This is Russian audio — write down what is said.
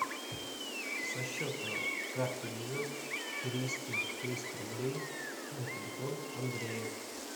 со счета карты виза перевести триста рублей на телефон андрея